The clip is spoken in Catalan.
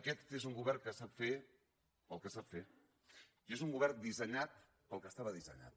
aquest és un govern que sap fer el que sap fer i és un govern dissenyat per al que estava dissenyat